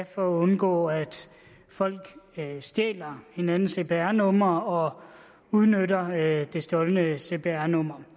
for at undgå at folk stjæler hinandens cpr numre og udnytter det stjålne cpr nummer